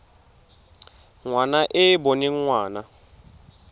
ngwana e e boneng ngwana